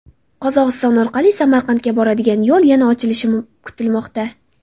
Qozog‘iston orqali Samarqandga boradigan yo‘l yana ochilishi kutilmoqda.